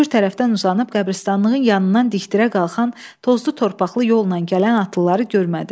Kür tərəfdən uzanıb qəbiristanlığın yanından dikdirə qalxan tozlu-torpaqlı yolla gələn atlıları görmədi.